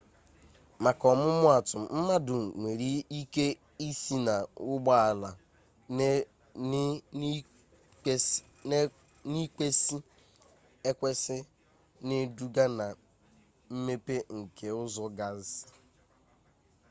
maka ọmụmaatụ mmadụ nwere ike ịsị na ụgbọala n'ịkwesị ekwesị na-eduga na mmepe nke ụzọ gasị